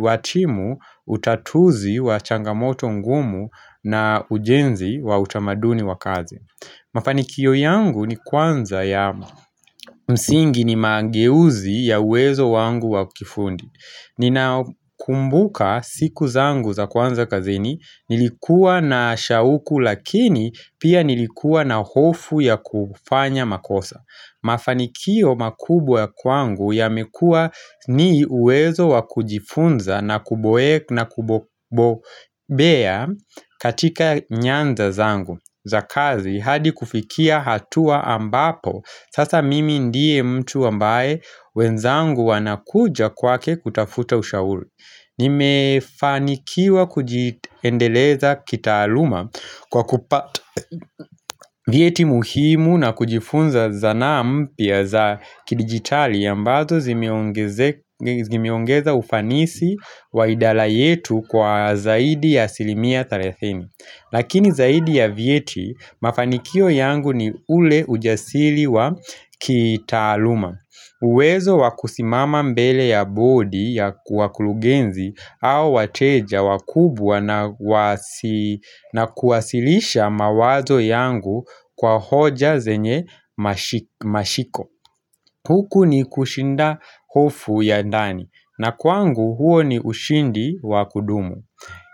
wa timu utatuzi wa changamoto ngumu na ujenzi wa utamaduni wa kazi Mafanikio yangu ni kwanza ya msingi ni mangeuzi ya uwezo wangu wa kifundi Nina kumbuka siku zangu za kwanza kazini Nilikuwa na shauku lakini pia nilikuwa na hofu ya kufanya makosa Mafanikio makubwa kwangu ya mekua ni uwezo wakujifunza na kuboe na kubobea katika nyanda zangu za kazi hadi kufikia hatua ambapo Sasa mimi ndiye mtu ambaye wenzangu wanakuja kwake kutafuta ushauri Nimefanikiwa kujiendeleza kitaaluma Kwa kupata vyeti muhimu na kujifunza zanaampya za kidigitali ambazo zimeongeza ufanisi wa idara yetu kwa zaidi ya asilimia 30 Lakini zaidi ya vyeti, mafanikio yangu ni ule ujasiri wa kitaaluma. Uwezo wakusimama mbele ya bodi ya wakurugenzi au wateja wakubwa na kuwasilisha mawazo yangu kwa hoja zenye mashiko. Huku ni kushinda hofu ya ndani na kwangu huo ni ushindi wakudumu.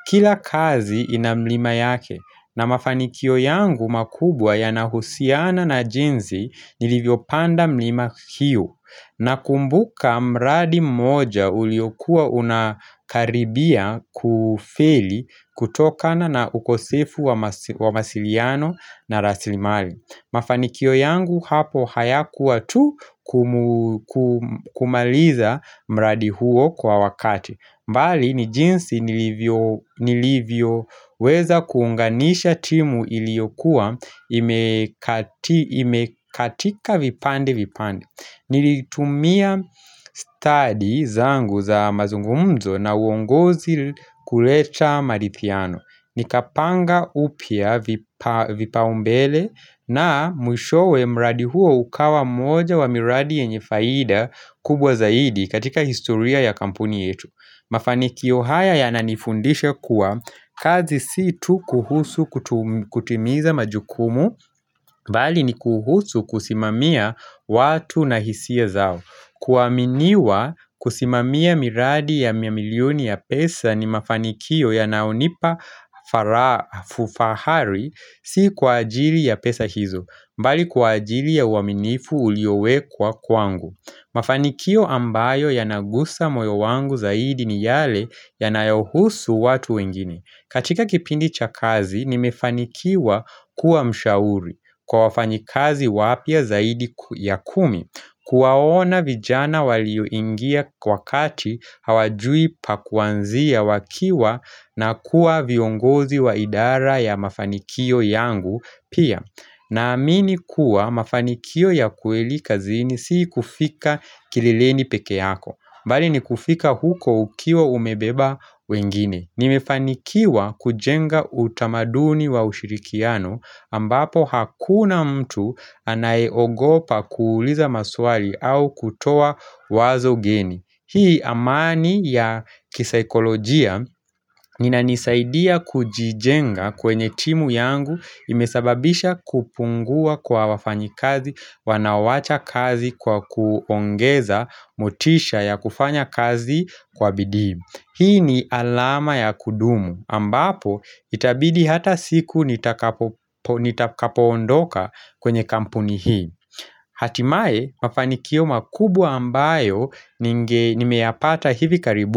Kila kazi ina mlima yake na mafanikio yangu makubwa ya nahusiana na jinsi nilivyo panda mlima hiyo na kumbuka mradi mmoja uliokua unakaribia kufeli kutokana na ukosefu wa mawasiliano na rasilimali. Mafanikio yangu hapo haya kuwa tu kumaliza mradi huo kwa wakati mbali ni jinsi nilivyo weza kuunganisha timu ili yokua imekatika vipande vipande Nilitumia stadi zangu za mazungumzo na uongozi kuleta marithiano ni kapanga upya vipa umbele na mwishowe mradi huo ukawa mmoja wa miradi yenye faida kubwa zaidi katika historia ya kampuni yetu Mafanikio haya ya nanifundisha kuwa kazi situ kuhusu kutimiza majukumu bali ni kuhusu kusimamia watu na hisia zao kuaminiwa kusimamia miradi ya mamilioni ya pesa ni mafanikio ya nayonipa fufahari si kwa ajili ya pesa hizo mbali kwa ajili ya uaminifu uliowekwa kwangu Mafanikio ambayo ya nagusa moyo wangu zaidi ni yale ya nayohusu watu wengine katika kipindi cha kazi ni mefanikiwa kuwa mshauri kwa wafanyikazi wapya zaidi ya kumi Kuwaona vijana walioingia kwa kati hawajui pakuanzia wakiwa na kuwa viongozi wa idara ya mafanikio yangu pia na amini kuwa mafanikio ya kweli kazini si kufika kileleni peke yako mbali ni kufika huko ukiwa umebeba wengine Nimefanikiwa kujenga utamaduni wa ushirikiano ambapo hakuna mtu anayeogopa kuuliza maswali au kutoa wazo geni. Hii amani ya kisaikolojia inanisaidia kujijenga kwenye timu yangu imesababisha kupungua kwa wafanyi kazi, wanaowacha kazi kwa kuongeza motisha ya kufanya kazi kwa bidii. Hii ni alama ya kudumu ambapo itabidi hata siku nitakapoondoka kwenye kampuni hii Hatimaye mafanikio makubwa ambayo nimeyapata hivi karibuni.